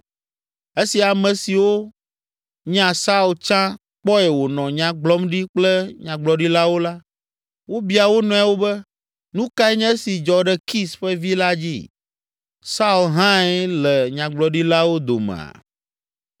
Esi ame siwo nya Saul tsã kpɔe wònɔ nya gblɔm ɖi kple nyagblɔɖilawo la, wobia wo nɔewo be, “Nu kae nye esi dzɔ ɖe Kis ƒe vi la dzĩ? Saul hãe le nyagblɔɖilawo domea?”